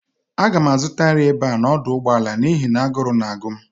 Aga m azụta nri n'ebe a n'ọdụ ụgbọala n'ihi na agụrụ na-agụ m